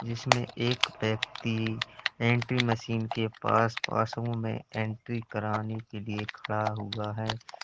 जिसमें एक व्यक्ति एंट्री मशीन के पास पास में एंट्री कराने के लिए खड़ा हुआ है।